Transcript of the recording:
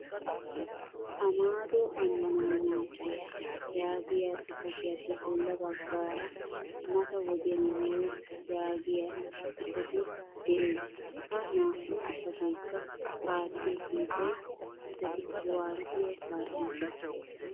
Amaado Anmacciya yaagiyaa xifaatiyappe bolla baggaara mata wodiyan yoos yagiyaa xifatee de'ees. Ha naa"u xifatekka aattiyo kiitay citati kuwaasiyaa kaa'iyooga.